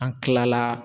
An kila la